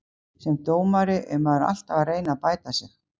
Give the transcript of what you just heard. Sem dómari er maður alltaf að reyna að bæta sig.